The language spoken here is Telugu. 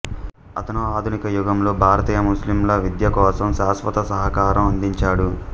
అతను ఆధునిక యుగంలో భారతీయ ముస్లింల విద్య కోసం శాశ్వత సహకారం అందించాడు